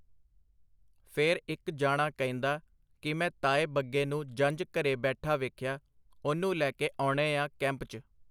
ਫੇਰ ਇੱਕ ਜਾਣਾ ਕਹਿੰਦਾ ਕਿ ਮੈਂ ਤਾਏ ਬੱਗੇ ਨੂੰ ਜੰਝ ਘਰੇ ਬੈਠਾ ਵੇਖਿਆ, ਉਹਨੂੰ ਲੈਕੇ ਆਉਣੇਆ ਕੈਂਪ ਚ.